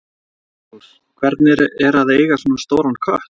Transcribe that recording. Magnús: Hvernig er að eiga svona stóran kött?